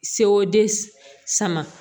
Sewo den sama